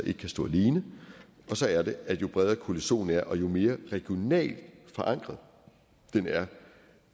ikke kan stå alene og så er det at jo bredere koalitionen er og jo mere regionalt forankret den er